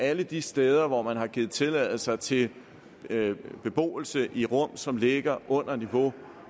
alle de steder hvor der er givet tilladelse til beboelse i rum som ligger under niveau